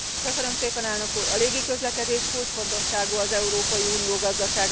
A légi közlekedés kulcsfontosságú az Európai Unió gazdasága szempontjából.